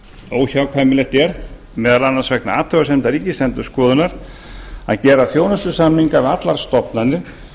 óhjákvæmilegt er meðal annars vegna athugasemda ríkisendurskoðunar að gera þjónustusamninga við allar stofnanir